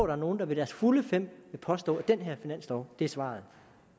er nogen der ved deres fulde fem vil påstå at den her finanslov er svaret